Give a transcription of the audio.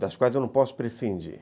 das quais eu não posso prescindir.